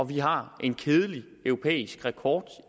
vi har en kedelig europæisk rekord